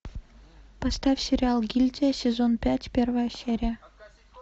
поставь сериал гильдия сезон пять первая серия